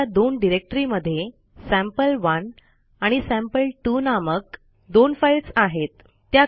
आपल्या दोन डिरेक्टरी मध्ये सॅम्पल1 आणि सॅम्पल2 नामक दोन फाईल्स आहेत